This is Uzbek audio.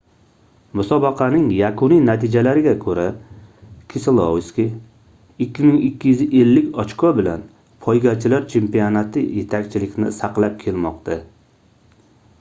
musobaqaning yakuniy natijalariga koʻra keselovski 2250 ochko bilan poygachilar chempionati yetakchilikni saqlab kelmoqda